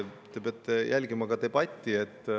Te peate jälgima debatti.